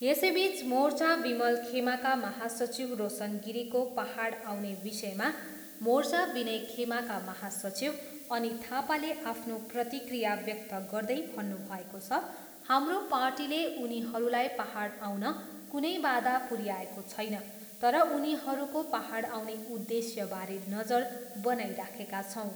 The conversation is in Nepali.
यसैबिच मोर्चा विमल खेमाका महासचिव रोशन गिरीको पाहाड आउने विषयमा मोर्चा विनय खेमाका महासचिव अनित थापाले आफ्नो प्रतिक्रिया व्यक्त गर्दै भन्नुभएको छ, हाम्रो पार्टीले उनीहरूलाई पाहाड आउन कुनै बाधा पुऱ्याउने छैन तर उनीहरूको पाहाड आउने उद्देश्यबारे नजर बनाइराखेका छौँ।